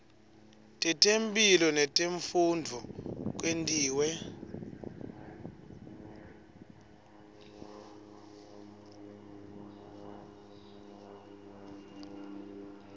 tetemphilo netemfundvo kwentiwe